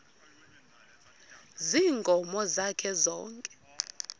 ziinkomo zakhe zonke